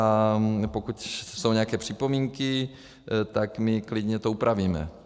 A pokud jsou nějaké připomínky, tak my to klidně upravíme.